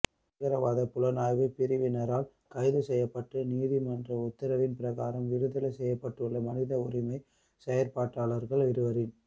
பயங்கரவாத புலனாய்வு பிரிவினரால் கைது செய்யப்பட்டு நீதிமன்ற உத்தரவின் பிரகாரம் விடுதலை செய்யப்பட்டுள்ள மனித உரிமை செயற்பாட்டாளர்கள் இருவரின்